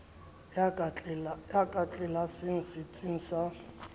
ya ka tlelaseng setsing sa